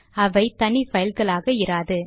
அவை தனி பைல்களாக இராது